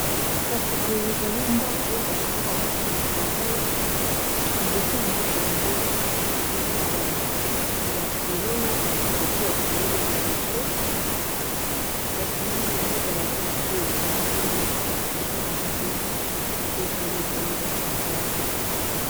Kasi boye ezali ndako kasi ndako yango eza na balabala, liboso ya ndako yango eza na bafololo, kasi batiye bafololo liboso kasi yango balabala pe ezape eza na yango pepele boye bato baza te.